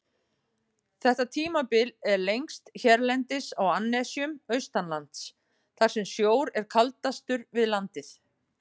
Þetta tímabil er lengst hérlendis á annesjum austanlands, þar sem sjór er kaldastur við landið.